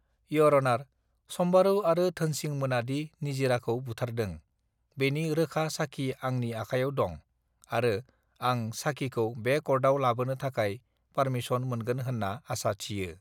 year अनार सम्बारू आरो धोनसिं मोनादि निजिराखौ बुथारदं बेनि रॊखा साखि आंनि आखायाव दं आरो आं साखिखौ बे कर्टआव लाबोनो थाखाय पारमिसन मोनगोन होन्ना आसा थियो